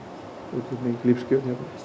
útflutning og lífskjör hérna